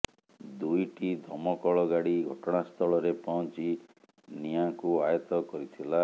ଦୁଇଟି ଦମକଳ ଗାଡି ଘଟଣାସ୍ଥଳରେ ପହଞ୍ଚି ନିଆଁକୁ ଆୟତ୍ତ କରିଥିଲା